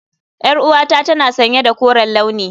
Yar'uwata tana sanye da koren launi.